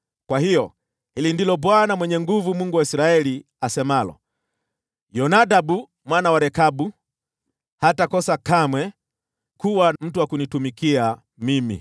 Kwa hiyo hili ndilo Bwana Mwenye Nguvu Zote, Mungu wa Israeli, asemalo: ‘Yonadabu mwana wa Rekabu hatakosa kamwe kuwa na mtu wa kunitumikia mimi.’ ”